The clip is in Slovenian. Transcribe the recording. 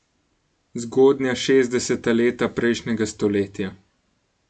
Zgodnja šestdeseta leta prejšnjega stoletja.